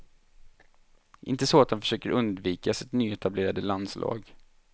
Inte så att han försöker undvika sitt nyetablerade landslag.